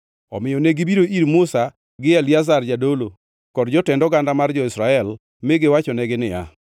Omiyo negibiro ir Musa gi Eliazar jadolo kod jotend oganda mar jo-Israel, mi giwachonegi niya,